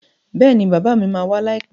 Bẹ́ẹ̀ni bàbá mi ma wá láìpẹ́